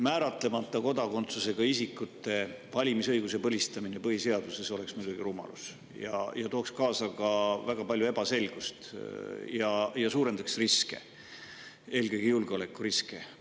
Määratlemata kodakondsusega isikute valimisõiguse põlistamine põhiseaduses oleks muidugi rumalus, see tooks kaasa väga palju ebaselgust ja suurendaks riske, eelkõige julgeolekuriske.